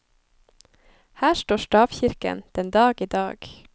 Her står stavkirken den dag i dag.